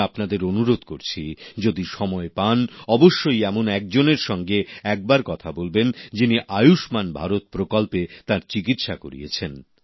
আমি আপনাদের অনুরোধ করছি যদি সময় পান অবশ্যই এমন একজনের সঙ্গে একবার কথা বলবেন যিনি আয়ুষ্মান ভারত প্রকল্পে তার চিকিৎসা করিয়েছেন